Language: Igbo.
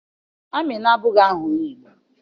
Amina abụghị aha onye Igbo.